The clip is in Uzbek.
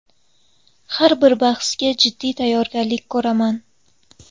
Har bir bahsga jiddiy tayyorgarlik ko‘raman.